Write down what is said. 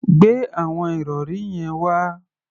Gbe àwọn ìrọ̀rí yẹn wá!